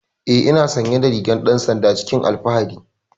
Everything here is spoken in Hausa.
Eh ina sanye da rigar dan sanda cikin alfahari.